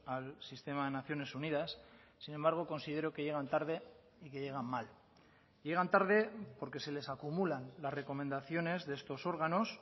al sistema de naciones unidas sin embargo considero que llegan tarde y que llegan mal llegan tarde porque se les acumulan las recomendaciones de estos órganos